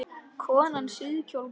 Konan síðkjól bar.